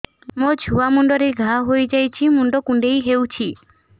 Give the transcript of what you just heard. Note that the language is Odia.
ମୋ ଛୁଆ ମୁଣ୍ଡରେ ଘାଆ ହୋଇଯାଇଛି ମୁଣ୍ଡ କୁଣ୍ଡେଇ ହେଉଛି